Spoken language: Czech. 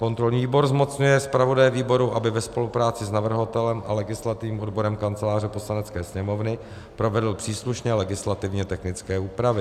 Kontrolní výbor zmocňuje zpravodaje výboru, aby ve spolupráci s navrhovatelem a legislativním odborem Kanceláře Poslanecké sněmovny provedl příslušné legislativně technické úpravy;